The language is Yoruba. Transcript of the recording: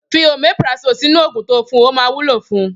Fi omeprazole sinu ogun to fún, ọ ma wúlò fún